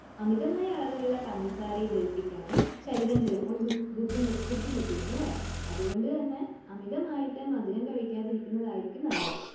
അമിതമായ അളവിലുള്ള പഞ്ചസാരയെ ദഹിപ്പിക്കാനും ശരീരം ചിലപ്പോൾ ബുദ്ധിമുട്ടിയെന്നും വരാം. അതുകൊണ്ടുതന്നെ അമിതമായിട്ട് മധുരം കഴിക്കാതിരിക്കുന്നതായിരിക്കും നല്ലത്.